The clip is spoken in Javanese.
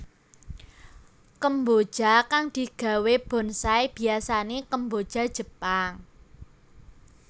Kemboja kang digawé bonsai biyasané kemboja Jepang